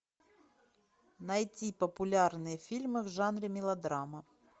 найти популярные фильмы в жанре мелодрама